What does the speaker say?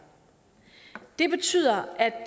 det betyder at